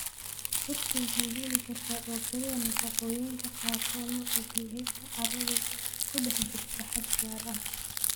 Dhirtu waxay heli kartaa oo keliya nafaqooyinka qaarkood marka pH-ga carradu ku dhex jirto xad gaar ah.